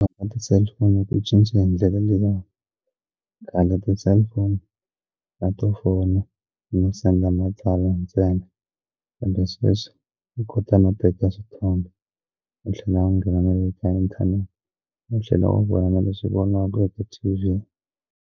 Ti-cellphone ti cince hi ndlela leya khale ti cellphone a to fona no senda matsalwa ntsena kambe sweswi u kota no teka swithombe no tlhela u nghena na le ka inthanete no tlhela u vona na leswi voniwaka e ti T_V.